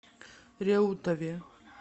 реутове